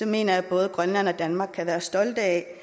mener jeg at både grønland og danmark kan være stolte af at